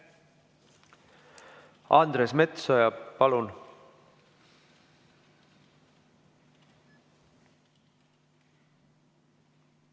Andres Metsoja, palun!